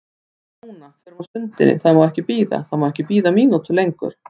Förum núna, förum á stundinni, það má ekki bíða, það má ekki bíða mínútu lengur.